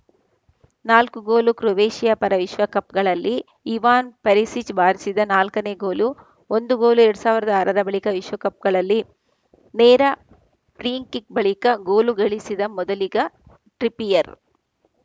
ನಾಲ್ಕು goal Croatia ಪರ ವಿಶ್ವಕಪ್‌ಗಳಲ್ಲಿ ಇವಾನ್‌ ಪೆರಿಸಿಚ್‌ ಬಾರಿಸಿದ ನಾಲ್ಕನೇ ಗೋಲು ಒಂದು ಗೋಲು ಎರಡ್ ಸಾವಿರದ ಆರರ ಬಳಿಕ ವಿಶ್ವಕಪ್‌ನಲ್ಲಿ ನೇರ ಫ್ರೀ ಕಿಕ್‌ ಬಳಿಕ ಗೋಲು ಗಳಿಸಿದ ಮೊದಲಿಗ ಟ್ರಿಪಿಯರ್‌